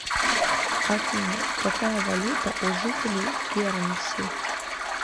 афина какая валюта у жителей гернси